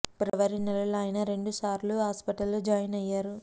ఫిబ్రవరి నెలలో ఆయన రెండు సార్లు హాస్పిటల్ లో జాయిన్ అయ్యారు